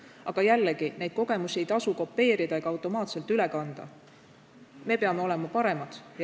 Samas jällegi: neid kogemusi ei maksa kopeerida ega automaatselt üle kanda, me peame olema paremad.